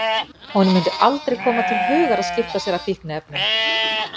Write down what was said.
Honum mundi aldrei koma til hugar að skipta sér af fíkniefnum!